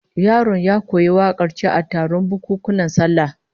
Yaron ya koyi wakar ce a taron bukunkunan sallah